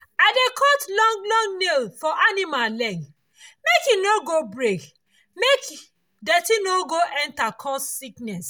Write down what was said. i dey cut long long nail for animal leg make e for no go break make dirty no go enter cause sickness